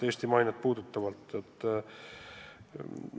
Ma pean silmas Eesti mainet.